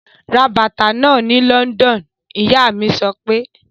Ra bàtà náà ni London! Ìyá mí sọ pé.